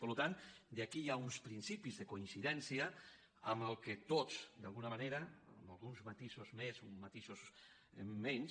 per tant aquí hi ha uns principis de coincidèn·cia en el que tots d’alguna manera amb alguns mati·sos més uns matisos menys